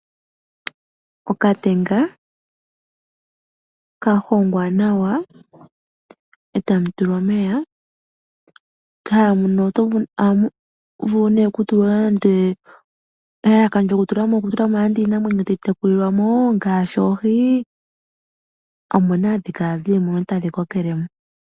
Okatenga ka hongwa nawa, e tamu tulwa omeya. Ohamu vulu nduno okutulwa nande iinamwenyo tayi tekulilwa mo, nande oohi, omo hadhi kala dhi li moka tadhi kokele mo.